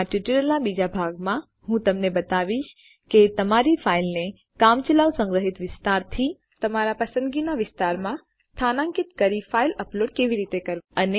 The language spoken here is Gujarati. આ ટ્યુટોરીયલના બીજા ભાગમાં હું તમને બતાવીશ કે તમારી ફાઈલ ને કામચલાઉ સંગ્રહ વિસ્તારથી તમારા પસંદગીના વિસ્તારમાં સ્થાનાંકિત કરી ફાઈલ અપલોડ કેવી રીતે કરવું